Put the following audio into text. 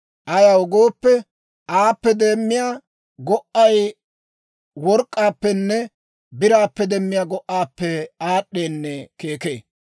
Ayaw gooppe, aappe demmiyaa go"ay work'k'aappenne biraappe demmiyaa go"aappe aad'd'eenne keekee.